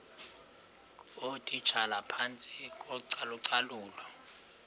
ngootitshala phantsi kocalucalulo